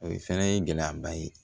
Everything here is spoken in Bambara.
O ye fɛnɛ ye gɛlɛyaba ye